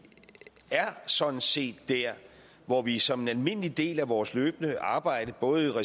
er sådan set der hvor vi som en almindelig del af vores løbende arbejde både